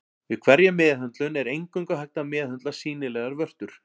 Við hverja meðhöndlun er eingöngu hægt að meðhöndla sýnilegar vörtur.